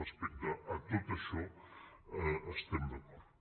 respecte a tot això estem d’acord